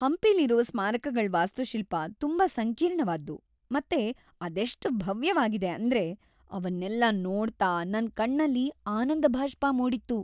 ಹಂಪಿಲಿರೋ ಸ್ಮಾರಕಗಳ್ ವಾಸ್ತುಶಿಲ್ಪ‌ ತುಂಬಾ ಸಂಕೀರ್ಣವಾದ್ದು ಮತ್ತೆ ಅದೆಷ್ಟ್ ಭವ್ಯವಾಗಿದೆ ಅಂದ್ರೆ ಅವನ್ನೆಲ್ಲ ನೋಡ್ತಾ ನನ್‌ ಕಣ್ಣಲ್ಲಿ ಆನಂದಭಾಷ್ಪ ಮೂಡಿತ್ತು.